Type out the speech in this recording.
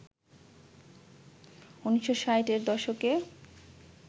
১৯৬০-এর দশকে